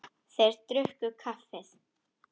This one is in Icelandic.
Þeir drukku kaffið.